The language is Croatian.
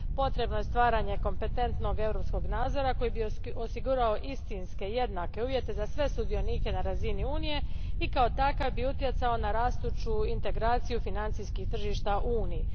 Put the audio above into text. Potrebno je stvaranje kompetentnog europskog nadzora koji bi osigurao istinske i jednake uvjete za sve sudionike na razini Unije i kao takav bi utjecao na rastuću integraciju financijskih tržišta u Uniji.